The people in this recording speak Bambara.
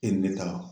E ne ka